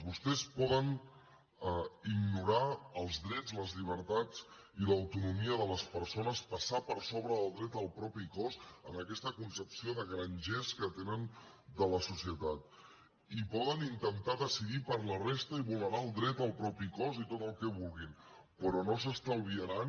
vostès poden ignorar els drets les llibertats i l’autonomia de les persones passar per sobre del dret al propi cos amb aquesta concepció de grangers que tenen de la societat i poden intentar decidir per la resta i vulnerar el dret al propi cos i tot el que vulguin però no s’estalviaran